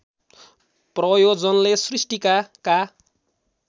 प्रयोजनले सृष्टिकाका